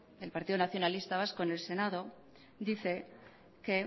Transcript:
del partido nacionalista vasco en el senado dice que